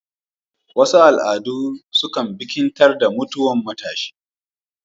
Wasu al'adu sukan bikintar da mutwan matshi